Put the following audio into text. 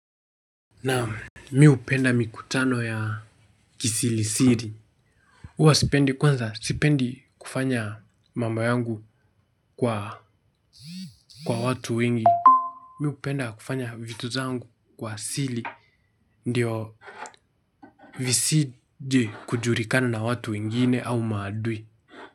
Naam mimi hupenda mikutano ya kisirisiri huwa sipendi kwanza sipendi kufanya mambo yangu kwa watu wengi mihupenda kufanya vitu zangu kwa siri ndiyo visije kujulikana na watu wengine au maadui.